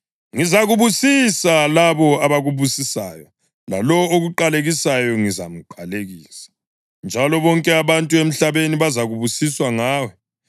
Ngizababusisa labo abakubusisayo, lalowo okuqalekisayo ngizamqalekisa; njalo bonke abantu emhlabeni bazakubusiswa ngawe.”